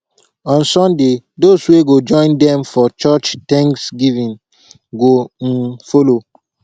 on sunday dose wey go join dem for church thanksgiving go um follow